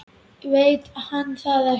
Veit hann það ekki?